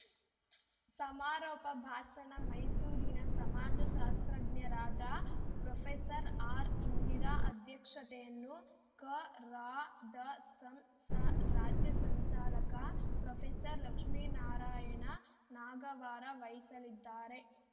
ಸಮಾರೋಪ ಭಾಷಣ ಮೈಸೂರಿನ ಸಮಾಜಶಾಸ್ತ್ರಜ್ಞರಾದ ಪ್ರೊಫೆಸರ್ ಆರ್‌ಇಂದಿರಾ ಅಧ್ಯಕ್ಷತೆಯನ್ನು ಕರಾದಸಂಸ ರಾಜ್ಯ ಸಂಚಾಲಕ ಪ್ರೊಫೆಸರ್ ಲಕ್ಷ್ಮೀನಾರಾಯಣ ನಾಗವಾರ ವಹಿಸಲಿದ್ದಾರೆ